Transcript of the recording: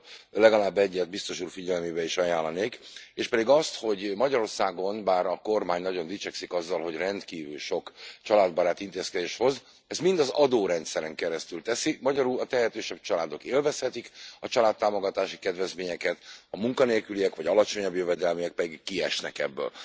Ebből legalább egyet Biztos úr figyelmébe is ajánlanék, éspedig azt, hogy Magyarországon, bár a kormány nagyon dicsekszik azzal, hogy rendkívül sok családbarát intézkedést hoz, ezt mind az adórendszeren keresztül teszi, magyarul a tehetősebb családok élvezhetik a családtámogatási kedvezményeket, a munkanélküliek vagy alacsonyabb jövedelműek pedig kiesnek ebből.